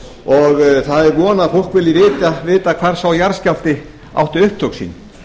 og það er von að fólk vilji vita hvar sá jarðskjálfti átti upptök sín